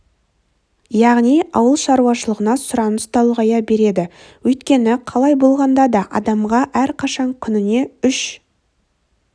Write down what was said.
яғни ауыл шаруашылығына сұраныс та ұлғая береді өйткені қалай болғанда да адамға әрқашан күніне үш